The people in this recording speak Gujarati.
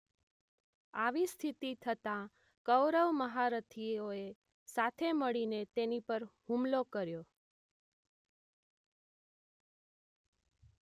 આવી સ્થિતી થતાં કૌરવ મહારથી ઓ એ સાથે મળીને તેની પર હુમલો કર્યો